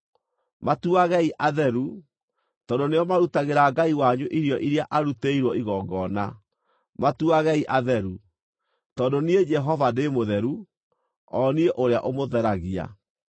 Matuagei atheru, tondũ nĩo marutagĩra Ngai wanyu irio iria arutĩirwo igongona. Matuagei atheru, tondũ niĩ Jehova ndĩ mũtheru, o niĩ ũrĩa ũmũtheragia.